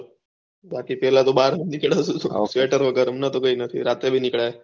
બાકી તો પેહલા ભાહર ના નીકળાય સ્વેટર પેહરી ને થતું ના નીકળાય